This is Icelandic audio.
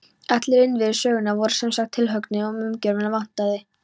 Allir innviðir sögunnar voru sem sagt tilhöggnir, en umgjörðina vantaði.